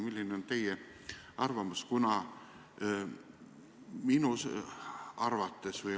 Milline on teie arvamus?